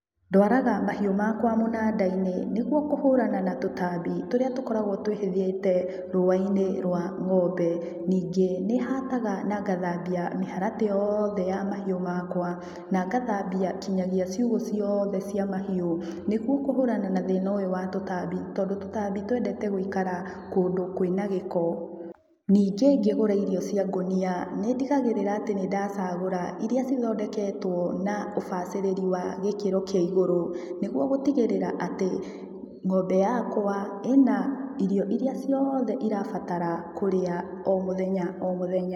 Ndwaraga mahiũ makwa mũnandainĩ nĩguo kũhũrana na tũtambi tũrĩa tũkoragwo twĩhithĩte rũa-inĩ rwa ng'ombe ningĩ nĩhataga na ngathambia mĩharatĩ yothe ya mahiũ makwa na ngathabia nginyagia ciugũ ciothe cia mahiũ nĩguo kũhũrana na thĩna ũyũ wa tũtambi tondũ tũtambi twendete gũikara kũndũ kwĩna gĩko. Ningĩ ngĩgũra irio cia ngũnia ndigagĩrĩra atĩ nĩndacagũra iria cithondeketwo na ũbacĩrĩri wa gĩkĩro kĩa igũrũ nĩguo gũtigĩrĩra atĩ ng'ombe yakwa ĩna irio iria ciothe irabatara kũrĩa o mũthenya o mũthenya.